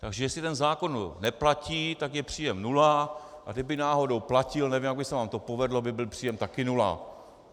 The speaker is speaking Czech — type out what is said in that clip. Tak jestli ten zákon neplatí, tak je příjem nula, a kdyby náhodou platil, nevím, jak by se vám to povedlo, by byl příjem také nula.